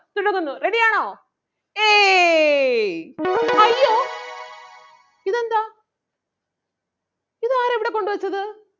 തുടങ്ങുന്നു. Ready ആണോ? ഏയ് അയ്യോ ഇതെന്താ ഇതാരാ ഇവിടെ കൊണ്ട് വെച്ചത്.